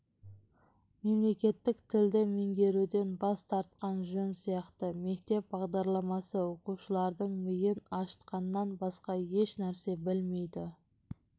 мемлекеттік тілді меңгеруден бас тартқан жөн сияқты мектеп бағдарламасы оқушылардың миын ашытқаннан басқа ешнәрсе білмейді